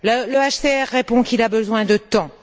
Le HCR répond qu'il a besoin de temps.